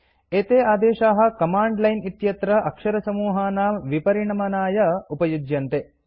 एते आदेशाः command line इत्यत्र अक्षरसमूहानां विपरिणमनाय उपयुज्यन्ते